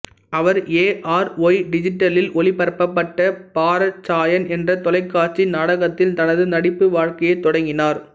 our A R Y டிஜிட்டலில் ஒளிபரப்பப்பட்ட பார்ச்சாயன் என்ற தொலைக்காட்சி நாடகத்தில் தனது நடிப்பு வாழ்க்கையைத் தொடங்கினார்